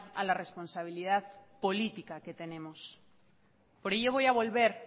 a la responsabilidad política que tenemos por ello voy a volver